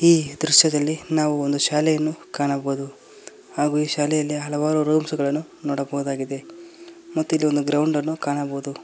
ಈ ದೃಶ್ಯದಲ್ಲಿ ನಾವು ಒಂದು ಶಾಲೆಯನ್ನು ಕಾಣಬಹುದು ಹಾಗೂ ಈ ಶಾಲೆಯಲ್ಲಿ ಹಲವಾರು ರೂಮ್ಸ್ ಗಳನ್ನು ನೋಡಬಹುದಾಗಿದೆ ಮತ್ತು ಇಲ್ಲಿ ಒಂದು ಗ್ರೌಂಡ್ ಅನ್ನು ಕಾಣಬಹುದು.